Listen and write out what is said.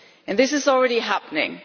This is already happening.